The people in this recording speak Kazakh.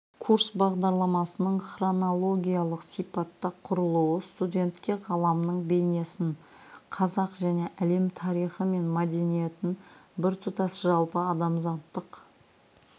курс бағдарламасының хронологиялық сипатта құрылуы студентке ғаламның бейнесін қазақ және әлем тарихы мен мәдениетін біртұтас жалпы адамзаттық